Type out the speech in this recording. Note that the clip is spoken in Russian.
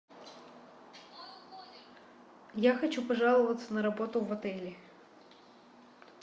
я хочу пожаловаться на работу в отеле